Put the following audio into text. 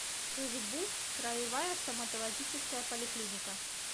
кгбуз краевая стоматологическая поликлиника